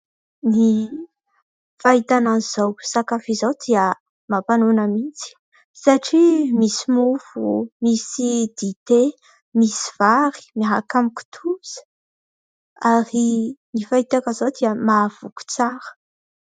Ny fahitan'izao sakafo izao dia mampa-noana mihintsy satria misy mofo misy dite, misy vary miharaka amin'ny kotoza, ary ny fahitako izao dia mahavoky tsara.